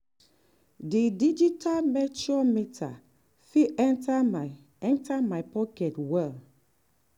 di digital moisture meter fit enter my enter my pocket well